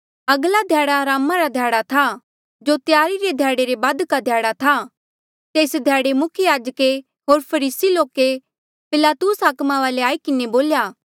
अगले ध्याड़े अरामा रे ध्याड़े था जो त्यारी रे ध्याड़े रे बादका ध्याड़ा था तेस ध्याड़े मुख्य याजके होर फरीसी लोके पिलातुस हाकमे वाले आई किन्हें बोल्या